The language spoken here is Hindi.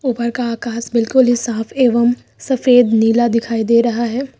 ऊपर का आकाश बिल्कुल ही साफ एवं सफेद नीला दिखाई दे रहा है।